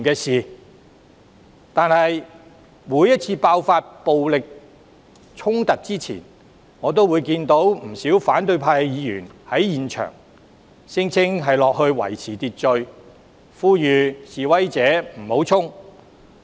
然而，每次爆發暴力衝突前，我都看到不少反對派議員在場，聲稱要維持秩序，呼籲示威者不要衝擊。